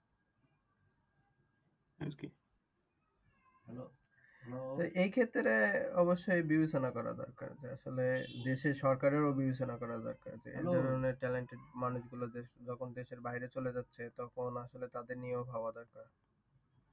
এই ক্ষেত্রেই অবশ্যই বিবেচনা করা দরকার যে আসলে দেশের সরকারের ও বিবেচনা করা দরকার যে এই ধরণের talented মানুষ গুলা যখন দেশের বাহিরে চলে যাচ্ছে তখন আসলে তাদের নিয়ে ও ভাবা দরকার।